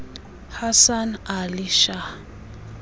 hasan ali shah